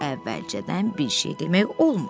Əvvəlcədən bir şey demək olmur.